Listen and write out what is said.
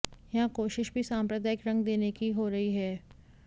यहां कोशिश भी सांप्रदायिक रंग देने की हो रही है